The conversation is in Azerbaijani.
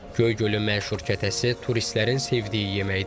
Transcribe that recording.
Göygölün məşhur kətəsi turistlərin sevdiyi yeməkdir.